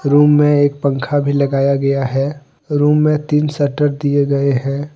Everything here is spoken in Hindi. रूम में एक पंखा भी लगाया गया हैं रूम में तीन शटर दिये गए हैं।